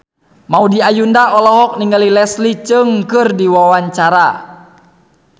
Maudy Ayunda olohok ningali Leslie Cheung keur diwawancara